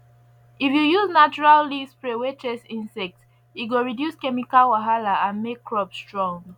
if you use natural leaf spray wey chase insect e go reduce chemical wahala and make crops strong